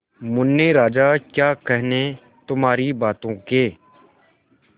मुन्ने राजा क्या कहने तुम्हारी बातों के